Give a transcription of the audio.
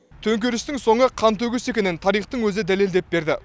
төңкерістің соңы қантөгіс екенін тарихтың өзі дәлелдеп берді